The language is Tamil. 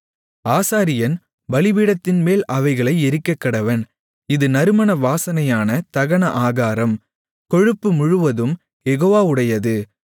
ஆசாரியன் பலிபீடத்தின்மேல் அவைகளை எரிக்கக்கடவன் இது நறுமண வாசனையான தகன ஆகாரம் கொழுப்பு முழுவதும் யெகோவாவுடையது